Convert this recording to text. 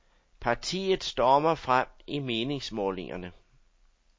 Partiet stormer frem i meningsmålingerne.